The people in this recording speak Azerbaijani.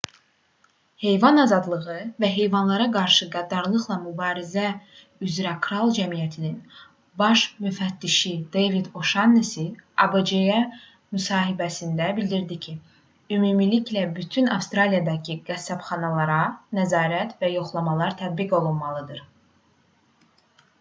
heyvan azadlığı və heyvanlara qarşı qəddarlıqla mübarizə üzrə kral cəmiyyətinin rspca baş müfəttişi deyvid o'şannesi abc-yə müsahibəsində bildirdi ki ümumilikdə bütün avstraliyadakı qəssabxanalara nəzarət və yoxlamalar tətbiq olunmalıdır